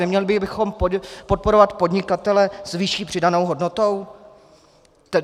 Neměli bychom podporovat podnikatele s vyšší přidanou hodnotou?